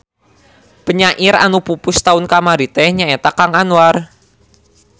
Penyair anu pupus taun kamari teh nyaeta Kang Anwar